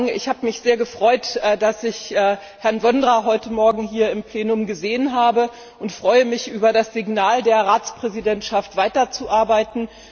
Ich habe mich sehr gefreut, dass ich Herrn Vondra heute Morgen hier im Plenum gesehen habe, und ich freue mich über das Signal der Ratspräsidentschaft, weiterzuarbeiten.